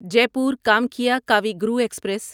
Jaipur Kamakhya Kavi Guru express